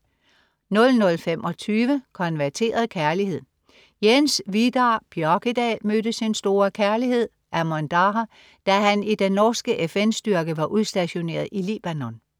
00.25 Konverteret kærlighed. Jens Vidar Bjørkedal mødte sin store kærlighed Amon Daher, da han i den norske FN-styrke var udstationeret i Libanon